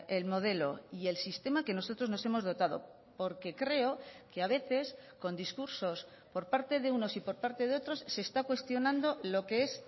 el modelo y el sistema que nosotros nos hemos dotado porque creo que a veces con discursos por parte de unos y por parte de otros se está cuestionando lo que es